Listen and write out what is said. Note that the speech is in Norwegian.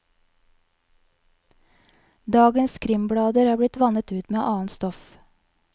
Dagens krimblader er blitt vannet ut med annet stoff.